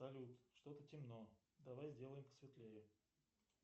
салют что то темно давай сделаем посветлее